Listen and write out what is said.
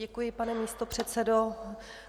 Děkuji, pane místopředsedo.